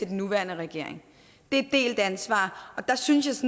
den nuværende regering det er et delt ansvar og jeg synes